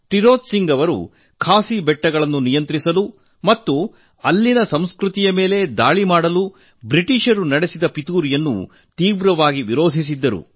ತಿರೋತ್ ಸಿಂಗ್ ಅವರು ಖಾಸಿ ಬೆಟ್ಟಗಳನ್ನು ನಿಯಂತ್ರಿಸಲು ಮತ್ತು ಅಲ್ಲಿನ ಸಂಸ್ಕೃತಿಯನ್ನು ನಾಶಗೊಳಿಸಲು ಬ್ರಿಟಿಷರು ನಡೆಸಿದ ಸಂಚನ್ನು ಪ್ರಬಲವಾಗಿ ವಿರೋಧಿಸಿದ್ದರು